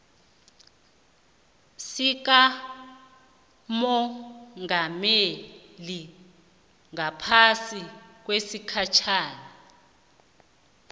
sikamongameli ngaphasi kwesigatjana